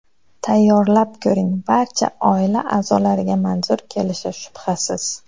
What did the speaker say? Tayyorlab ko‘ring, barcha oila a’zolariga manzur kelishi shubhasiz.